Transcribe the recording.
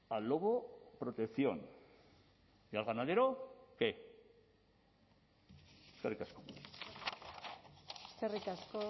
al lobo protección y al ganadero qué eskerrik asko eskerrik asko